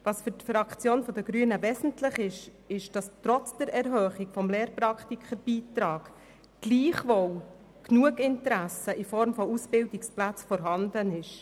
Für die grüne Fraktion ist die Tatsache wesentlich, dass trotz der Erhöhung des Lehrpraktikerbeitrags genug Interesse in Form von Ausbildungsplätzen vorhanden ist.